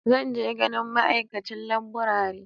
Zan je ganin ma'aikacin laburare.